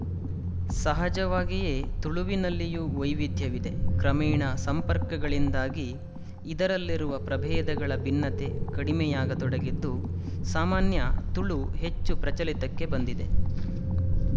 ಸಹಜವಾಗಿಯೇ ತುಳುವಿನಲ್ಲಿಯೂ ವೈವಿಧ್ಯವಿದೆ ಕ್ರಮೇಣ ಸಂಪರ್ಕಗಳಿಂದಾಗಿ ಇದರಲ್ಲಿರುವ ಪ್ರಬೇಧಗಳ ಭಿನ್ನತೆ ಕಡಿಮೆಯಾಗತೊಡಗಿದ್ದು ಸಾಮಾನ್ಯ ತುಳು ಹೆಚ್ಚು ಪ್ರಚಲಿತಕ್ಕೆ ಬಂದಿದೆ